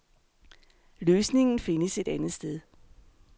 Løsningen findes et andet sted.